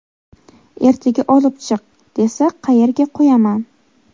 Ertaga olib chiq, desa qayerga qo‘yaman.